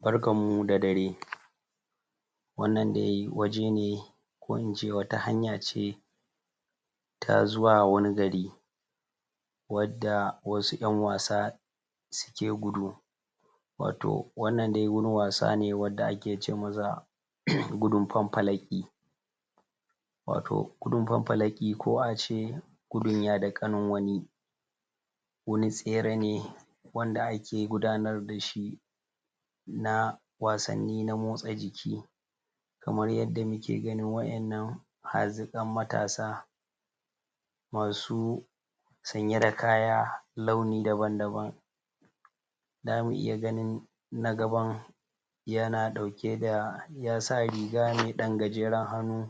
barkan mu da dare wannan dai waje nr ko ince wata hanya ce ta zuwa wani gari wadda wasu anwasa suke gudu wato wannan dai wani wasa ne wadda ake ce masa gudun faffalaki wato gudin faffalaki ko a ce gudun yada kanin wani wani tsere ne wanda ake gudanar da shi na wasanni na motsa jiki kamar yadda nake ganin wa'yannan hazikan matasa masu sanya da kaya launi daban-daban za mu iya ganin na gaban yana dauke da yasa riga mai dan gajeran hannu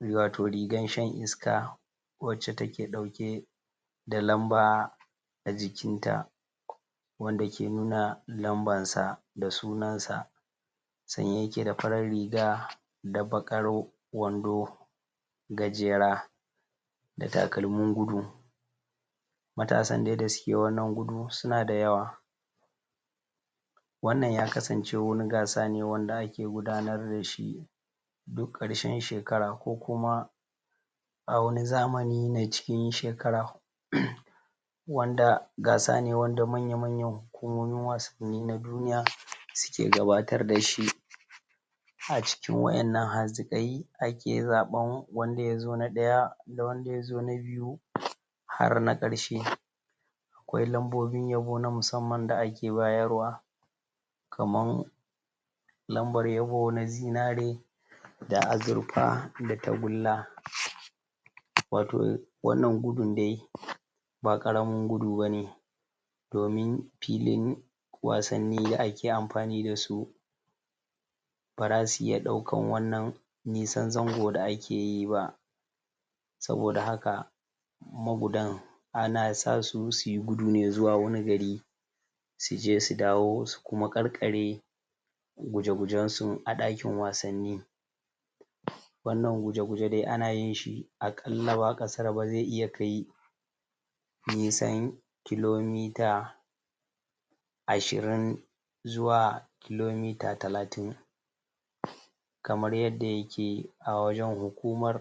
wato rigan shan iska wacce take dauke da lamba a jikinta wanda ke nuna lambar sa da sunansa sanye yake da farar riga da bakar wando wando gajera da takalmin gudu matasan da dai suke wannan gudu suna da yawa wannan ya kasance wani gasa ne wanda ake gudanar da shi duk karshen shekara kokuma a wani zamani nine na cikin shekara wanda gasa ne wanda manya-manyan hukumomi wasanni na duniya suke gabatar da shi a cikin wa'yannan hazikai ake zaban nanda ya zo na daya da wanda ya zo na biyu har na karshe akwai lambobin yabo na musamman da ake bayarwa kamar lambar yabo na zinare da azirfa da tagulla wato wannan gudin dai ba karamin gudu bane domin filin wasanni da ake amfani da su ba za su iya wannan nisan zango da ake yi ba saboda haka magudan ana sasu su yi gudu ne zuwa wani gari su je su dawo su kuma karkare guje gujensu a dakin wasanni wannan guje-guje dai ana yishi a kalla ba a kasaraba zai iya kai nisan kilomita ashirin zuwa kilomita takatin kamar yadda yake a wajan hukumar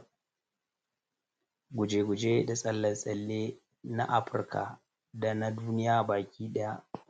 guje-guje da tsalle-tsalle na afirka da na duniya baki daya